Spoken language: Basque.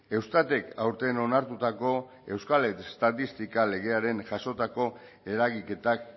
eustatek aurten onartutako euskal estatistika legearen jasotako eragiketak